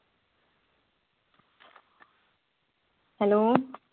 Hello